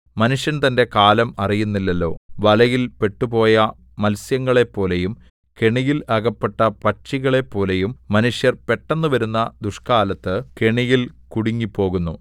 മനുഷ്യൻ തന്റെ കാലം അറിയുന്നില്ലല്ലോ വലയിൽ പെട്ടുപോയ മത്സ്യങ്ങളെപ്പോലെയും കെണിയിൽ അകപ്പെട്ട പക്ഷികളെപ്പോലെയും മനുഷ്യർ പെട്ടെന്ന് വരുന്ന ദുഷ്കാലത്ത് കെണിയിൽ കുടുങ്ങിപ്പോകുന്നു